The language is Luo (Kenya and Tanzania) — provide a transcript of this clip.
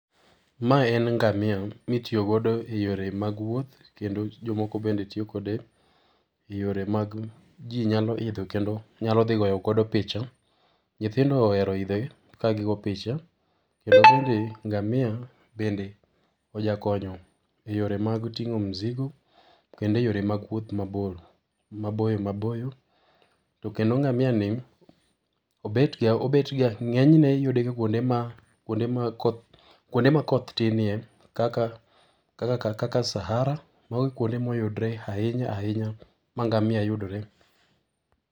Ma en ngamia mitiyo godo eyore mag wuoth, kendo jomoko bende tiyo kode eyore mag jii nyalo idho kendo nyalo dhi goyo godo picha. Nyithindo ohero idhe kagigoyo picha kendo bende ngamia bende ojakonyo eyore mag ting'o mizigo kendo eyore mag wuoth mabor, maboyo maboyo. To kendo ngamia ni obetga, obetga ng'enyne iyudega kuonde ma, kuonde ma koth , kuonde ma koth tinnie kaka kaka ka Sahara, mage kuonde ma oyudre ahinya ahinya ma ngamia yudre